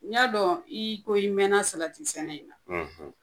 N yadɔn i ko i mɛna salati sɛnɛ in na